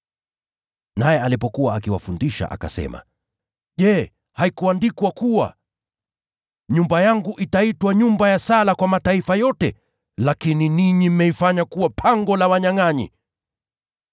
Naye alipokuwa akiwafundisha, akasema, “Je, haikuandikwa kuwa: “ ‘Nyumba yangu itaitwa nyumba ya sala kwa mataifa yote’? Lakini ninyi mmeifanya kuwa ‘pango la wanyangʼanyi.’ ”